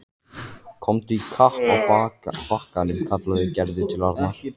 Komdu í kapp að bakkanum kallaði Gerður til Arnar.